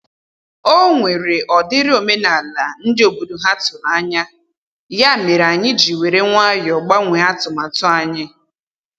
O nwere ọ dịrị omenala ndị obodo ha tụrụ anya, ya mere anyị ji were nwayọ gbanwee atụmatụ anyị